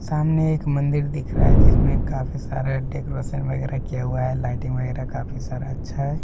सामने एक मन्दिर दिख रहा है जिसमे काफी सारा डेकोरेशन वेगेरा किया हुआ है लाइटिंग वेगेरा काफी अच्छा है।